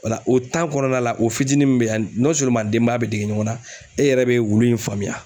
O la o tan kɔnɔna la o fitinin min be yen nɔn seleman denbaya be dege ɲɔgɔn na e yɛrɛ bɛ wulu in faamuya